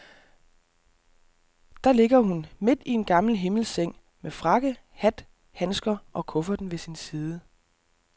Der ligger hun, midt i en gammel himmelseng, med frakke, hat, handsker og kufferten ved sin side.